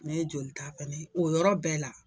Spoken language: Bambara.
Ne ye jolita fɛnɛ, o yɔrɔ bɛɛ la,